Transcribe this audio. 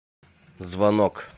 звонок